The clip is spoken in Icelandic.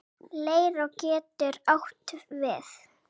Leirá getur átt við